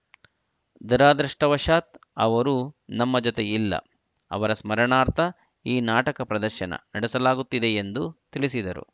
ದುರಾದೃಷ್ಟವಶಾತ್‌ ಅವರು ನಮ್ಮ ಜೊತೆ ಇಲ್ಲ ಅವರ ಸ್ಮರಣಾರ್ಥ ಈ ನಾಟಕ ಪ್ರದರ್ಶನ ನಡೆಸಲಾಗುತ್ತಿದೆ ಎಂದು ತಿಳಿಸಿದರು